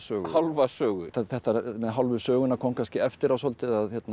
hálfa sögu þetta með hálfu söguna kom kannski eftir á svolítið af